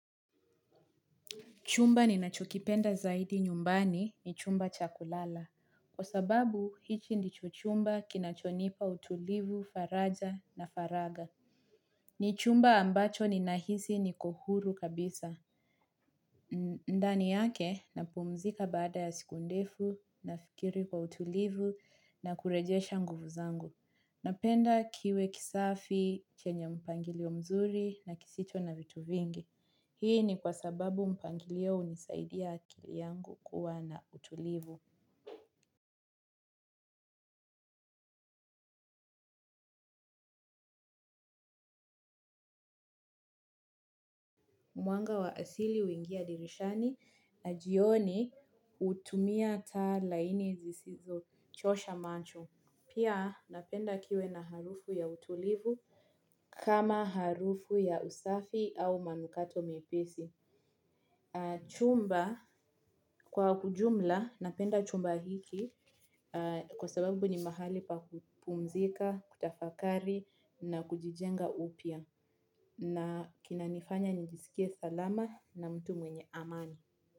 Chumba ninacho kipenda zaidi nyumbani ni chumba cha kulala. Kwa sababu, hichi ndicho chumba kinachonipa utulivu, faraja na faragha. Ni chumba ambacho ninahisi niko huru kabisa. Ndani yake napumzika baada ya siku ndefu, nafikiri kwa utulivu, na kurejesha nguvu zangu. Napenda kiwe kisafi, kenye mpangilio mzuri, na kisicho na vitu vingi. Hii ni kwa sababu mpangilio hunisaidia akili yangu kuwa na utulivu. Mwanga wa asili huingia dirishani na jioni hutumia taa laini zisizo chosha macho. Pia napenda kiwe na harufu ya utulivu kama harufu ya usafi au manukato mepesi. Chumba kwa ujumla napenda chumba hiki kwa sababu ni mahali pa kupumzika, kutafakari na kujijenga upya na kinanifanya njisikie salama na mtu mwenye amani.